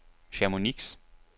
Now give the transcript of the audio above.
Chamonix